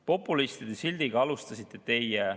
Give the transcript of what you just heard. Populistide sildiga aga alustasite teie.